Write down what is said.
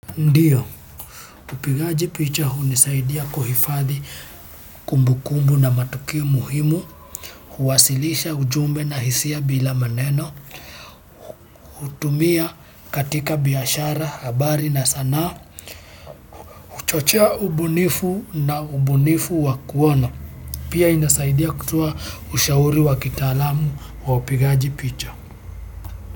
Ndio upigaji picha hunisaidia kuhifadhi kumbu kumbu na matukio muhimu huwasilisha ujumbe na hisia bila maneno hutumia katika biashara, habari na sanaa huchochea ubunifu na ubunifu wa kuona. Pia inasaidia kutoa ushauri wa kitaalamu wa upigaji picha.